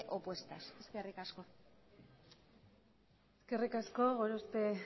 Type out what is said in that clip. opuestas eskerrik asko eskerrik asko gorospe